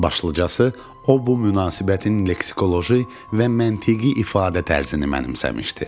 Başlıcası, o bu münasibətin leksikoloji və məntiqi ifadə tərzini mənimsəmişdi.